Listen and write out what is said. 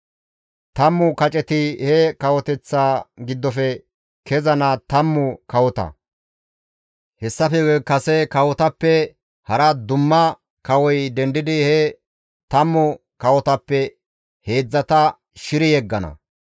Tammu kaceti he kawoteththa giddofe kezana tammu kawota; hessafe guye kase kawotappe hara dumma kawoy dendidi he tammu kawotappe heedzdzata shiri yeggana.